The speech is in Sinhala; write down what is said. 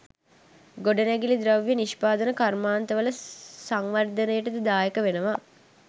ගොඩනැගිලි ද්‍රව්‍ය නිෂ්පාදන කර්මාන්තවල සංවර්ධනයටද දායක වෙනවා.